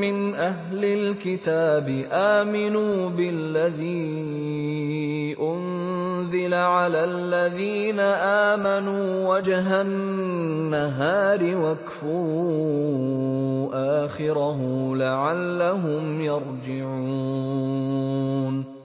مِّنْ أَهْلِ الْكِتَابِ آمِنُوا بِالَّذِي أُنزِلَ عَلَى الَّذِينَ آمَنُوا وَجْهَ النَّهَارِ وَاكْفُرُوا آخِرَهُ لَعَلَّهُمْ يَرْجِعُونَ